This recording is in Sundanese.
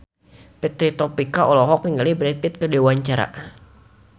Fitri Tropika olohok ningali Brad Pitt keur diwawancara